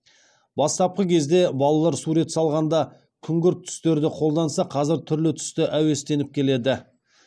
бастапқы кезде балалар сурет салғанда күңгірт түстерді қолданса қазір түрлі түсті әуестеніп келеді